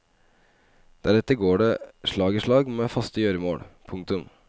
Deretter går det slag i slag med faste gjøremål. punktum